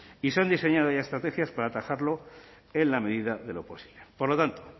y se han diseñado ya estrategias para atajarlo en la medida de lo posible por lo tanto